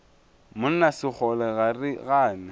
monna sekgole ga re gane